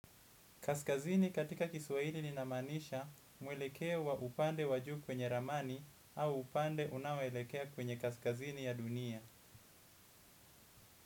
Kaskazini katika kiswahili linamanisha mwelekeo wa upande wa juu kwenye ramani au upande unaoelekea kwenye kaskazini ya dunia.